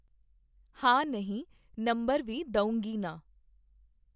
ਹਾਂ ਨਹੀਂ ਨੰਬਰ ਵੀ ਦਊਂਗੀ ਨਾ